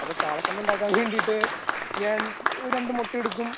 അപ്പൊ കാള കണ്ണ് ഉണ്ടാക്കാൻ വേണ്ടിയിട്ട് ഞാൻ രണ്ടു മുട്ട എടുക്കും